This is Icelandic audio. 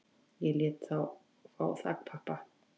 Ég lét þá fá þakpappa